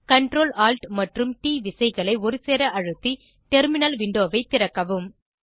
Ctrl Alt மற்றும் T விசைகளை ஒருசேர அழுத்தி டெர்மினல் விண்டோவை திறக்கவும்